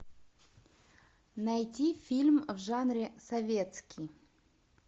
найти фильм в жанре советский